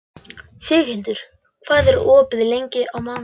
Signhildur, hvað er opið lengi á mánudaginn?